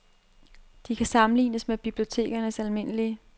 De kan sammenlignes med bibliotekernes almindelige